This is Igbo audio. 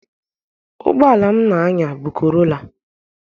Ụgboala m na-anya bụ korola.